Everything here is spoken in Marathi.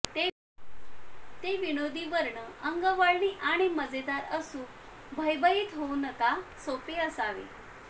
ते विनोदी वर्ण अंगवळणी आणि मजेदार असू भयभीत होऊ नका सोपे असावे